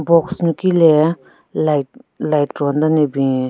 Box nyuki le light light ron den ne bin.